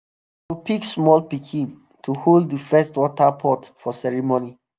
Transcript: dem go pick small pikin to hold the first water pot for ceremony.